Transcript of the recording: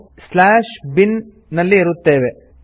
ನಾವು ಈಗ bin ನಲ್ಲಿ ಇರುತ್ತೇವೆ